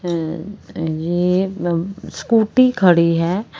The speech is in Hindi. अ अ ये ब स्कूटी खड़ी है।